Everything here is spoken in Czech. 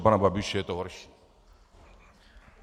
U pana Babiše je to horší.